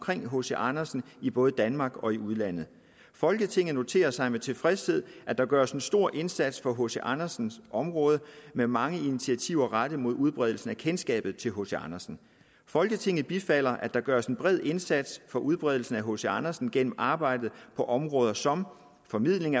hc andersen i både danmark og i udlandet folketinget noterer sig med tilfredshed at der gøres en stor indsats på hc andersen området med mange initiativer rettet mod udbredelsen af kendskabet til hc andersen folketinget bifalder at der gøres en bred indsats for udbredelsen af hc andersen gennem arbejdet på områder som formidling